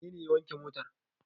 Wane ne ya wanke motar?